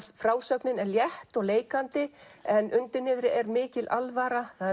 frásögnin er létt og leikandi en undir niðri er mikil alvara það